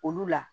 Olu la